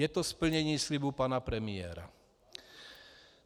Je to splnění slibu pana premiéra.